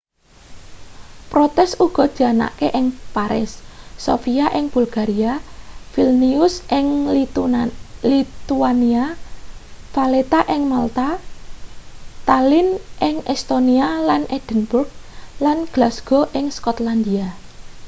protes uga dianakake ing paris sofia ing bulgaria vilnius ing lithuania valetta ing malta tallinn ing estonia lan edinburgh lan glasgow ing skotlandia